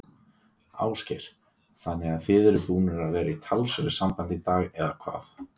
Ásgeir: Þannig að þið eruð búnir að vera í talsverðu sambandi í dag, eða hvað?